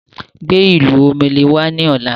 Gbé ìlù omele wá ni ọ̀la!